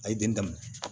A ye den daminɛ